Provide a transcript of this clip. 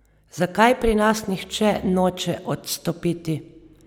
Zakaj pri nas nihče noče odstopiti?